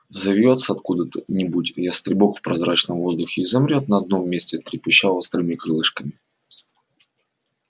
взовьётся откуда-нибудь ястребок в прозрачном воздухе и замрёт на одном месте трепеща острыми крылышками